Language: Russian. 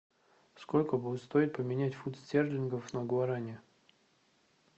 сколько будет стоить поменять фунты стерлингов на гуарани